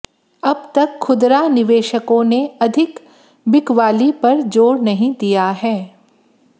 अब तक खुदरा निवेशकों ने अधिक बिकवाली पर जोर नहीं दिया है